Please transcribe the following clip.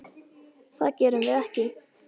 Það gerum við ekki.